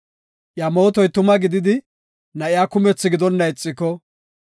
Iya mootoy tuma gididi, na7iya kumethi gidonna ixiko,